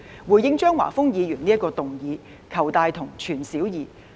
回應張華峰議員這項議案，我們要"求大同、存小異"。